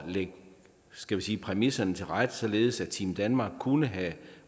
lægge skal vi sige præmisserne til rette således at team danmark kunne have